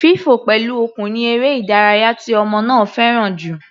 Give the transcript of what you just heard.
Fífọ̀ pẹ̀lú okùn ni eré ìdárayá tí ọmọ náà fẹ́ràn jù.